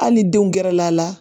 Hali ni denw gɛrɛla a la